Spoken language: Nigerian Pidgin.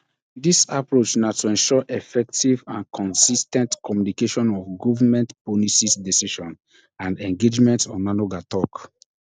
dis approach na to ensure effective and consis ten t communication of govment policies decisions and engagements onanuga tok